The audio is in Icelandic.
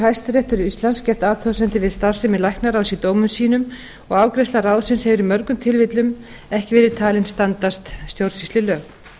hæstiréttur íslands gert athugasemdir við starfsemi læknaráðs í dómum sínum og afgreiðsla ráðsins hefur í mörgum tilfellum ekki verið talin standast stjórnsýslulög